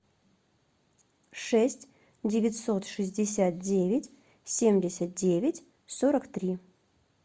шесть девятьсот шестьдесят девять семьдесят девять сорок три